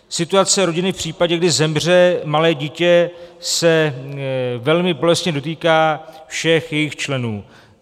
Situace rodiny v případě, kdy zemře malé dítě, se velmi bolestně dotýká všech jejich členů.